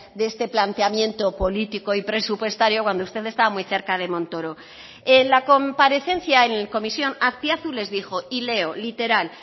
de este planteamiento político y presupuestario cuando usted está muy cerca de montoro en la comparecencia en comisión azpiazu les dijo y leo literal